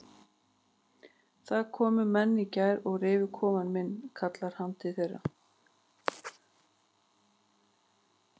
Það komu menn í gær og rifu kofann minn kallar hann til þeirra.